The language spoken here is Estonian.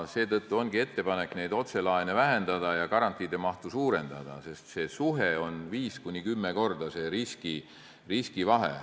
Seetõttu ongi ettepanek otselaene vähendada ja garantiide mahtu suurendada, sest see riskide vahe on 5–10 korda.